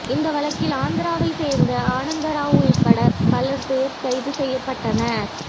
இந்த வழக்கில் ஆந்திராவைச் சேர்ந்த ஆனந்தராவ் உள்பட பலர் பேர் கைது செய்யப்பட்டனர்